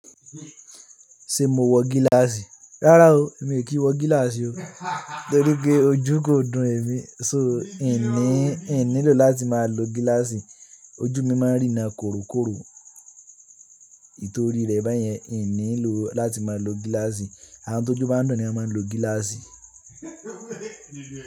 Ṣé mo wọ gíláàsì? Rárá o, èmi kì í wọ gíláàsì o. Nítorí pé ojú kò dùn ẹ̀mi, so hìń ní, hìń nílò láti máa lo gíláàsì. Ojú mi máa ń rína korokoro. Nítorí rẹ̀ báyẹn, hìń nílò láti máa lo gíláàsì. Àwọn tó ojú bá ń dùn ni wọ́n máa ń lo gíláàsì.